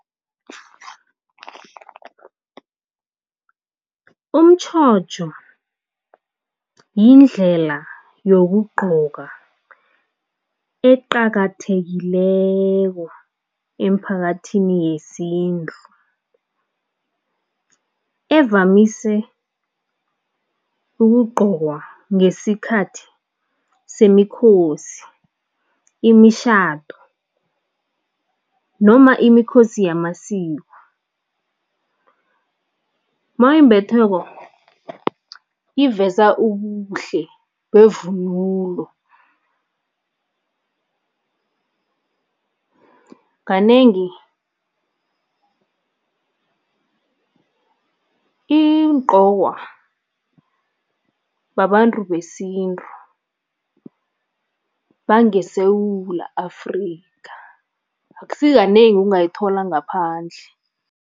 Umtjhotjho yindlela yokugqoka eqakathekileko emphakathini yesintu evamise ukugqokwa ngesikhathi semikhosi, imishado noma imikhosi yamasiko. Mawuyimbetheko iveza ubuhle bevunulo, kanengi igqokwa babantu besintu bangeSewula Afrika, akusikanengi ungayithola ngaphandle.